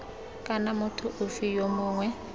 kana motho ofe yo mongwe